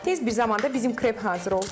Tez bir zamanda bizim krep hazır oldu.